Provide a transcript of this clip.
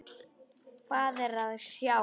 Hvað er að sjá